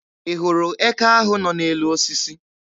Ị hụrụ eke ahụ nọ n'elu osisi?